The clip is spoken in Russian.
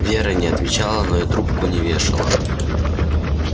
вера не отвечала но и трубку не вешала